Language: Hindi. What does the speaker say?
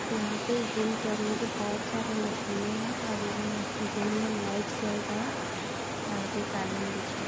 यहाँ पे जिम करने की बहुत सारी मशीने हैं और और इनमें जिम में लाइट्स जल रहा है और एक कालिन बिछा --